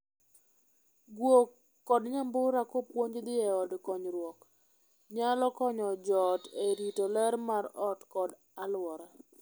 Guok kod nyambura kopuonj dhii e od konyruok nyalo konyo joot e rito ler mar ot kod aluora.